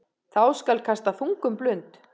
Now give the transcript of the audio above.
Þá skal kasta þungum blund.